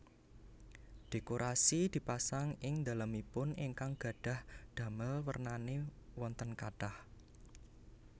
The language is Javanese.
Dhékorasi dipasang ing dhalemipun ingkang gadhah dhamel wernané wonten kathah